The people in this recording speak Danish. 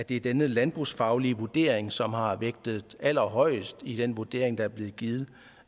det er denne landbrugsfaglige vurdering som har været vægtet allerhøjest i den vurdering der er blevet givet